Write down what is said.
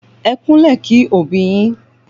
Ẹ kúnlẹ̀ kí òbí yín